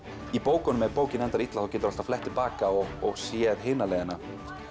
í bókunum ef bókin endar illa þá geturðu alltaf flett til baka og og séð hina leiðina